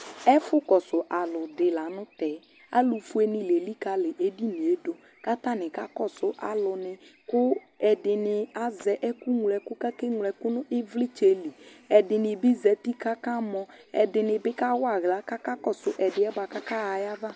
ɛƒʋ kɔsʋ alʋ di lantɛ, alʋ ƒʋɛ ni la ɛlikali ɛdiniɛ dʋ kʋ atani kakɔsʋ alʋ ni kʋɛdini azɛɛkʋmlɔ ɛkʋ kʋ akɛmlɔ ɛkʋnʋ ivlitsɛ li, ɛdini bi zati kʋ aka mɔ, ɛdini bi kawa ala kʋ akakɔsʋ ɛdiɛ bʋakʋ ɔkaha aɣa